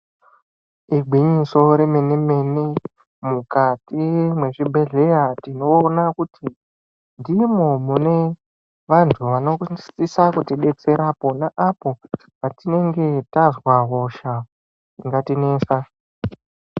Igwinyiso remene mene mukati mwezvibhehleya tinoona kuti ndimwo mune vantu vanosise kutidetsera pona apo patienge tazwa hosha dzingatinesa.